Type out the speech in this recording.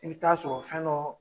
I bi taa sɔrɔ o fɛn dɔ